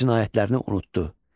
Cinayətlərini unutdu.